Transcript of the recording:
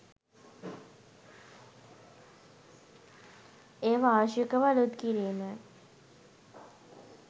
එය වාර්ෂිකව අලුත් කිරීම